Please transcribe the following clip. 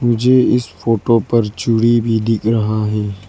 मुझे इस फोटो पर चूड़ी भी दिख रहा है।